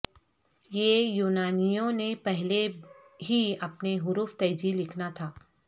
یہ یونانیوں نے پہلے ہی اپنے حروف تہجی لکھا تھا